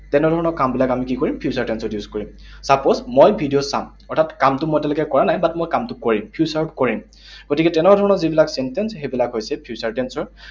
তেনেধৰণৰ কামবিলাক আমি কি কৰিম? Future tense ত use কৰিম। Suppose মই ভিডিঅ চাম। অৰ্থাৎ কামটো মই এতিয়ালৈকে কৰা নাই, but মই কামটো কৰিম, future ত কৰিম। গতিকে তেনেধৰণৰ যিবিলাক sentence, সেইবিলাক হৈছে future tense ৰ